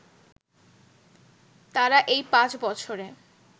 তারা এই পাঁচ বছরে